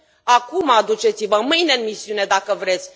Acum duceți vă, mâine, în misiune, dacă vreți!